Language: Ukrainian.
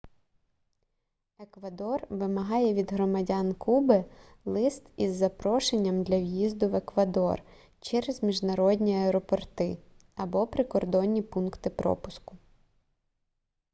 еквадор вимагає від громадян куби лист із запрошенням для в'їзду в еквадор через міжнародні аеропорти або прикордонні пункти пропуску